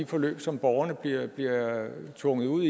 forløb som borgerne bliver bliver tvunget ud